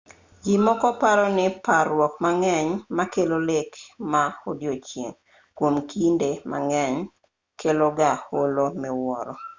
ji moko paro ni parruok mang'eny makelo lek mag odiechieng' kuom kinde mang'eny kelo ga olo miwuoro